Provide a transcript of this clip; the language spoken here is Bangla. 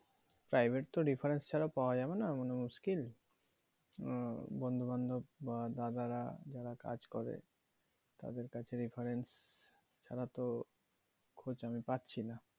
private তো reference ছাড়া পাওয়া যাবে না মানে মুশকিল - আহ বন্ধু বান্ধব বা দাদারা যারা কাজ করে তাদের কাছে reference ছাড়া তো খোঁজ আমি পাচ্ছি না